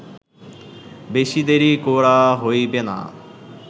বেশী দেরী করা হইবে না